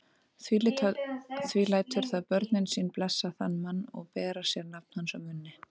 Því lætur það börnin sín blessa þann mann og bera sér nafn hans á munni.